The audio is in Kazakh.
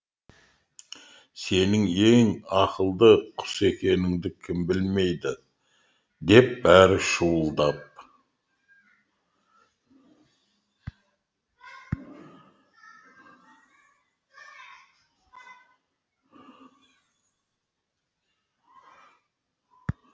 сенің ең ақылды құс екеніңді кім білмейді деп бәрі шуылдап